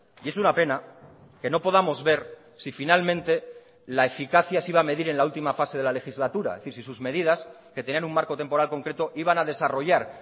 y es una pena que no podamos ver si finalmente la eficacia se iba a medir en la última fase de la legislatura y si sus medidas que tenían un marco temporal concreto iban a desarrollar